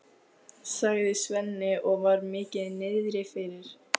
sagði Svenni og var mikið niðri fyrir.